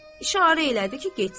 İşarə elədi ki, getsin.